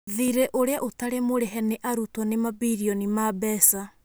Thiirĩ ũrĩa ũtari mũrihe nĩ arutwo nĩ mambirioni ma mbeca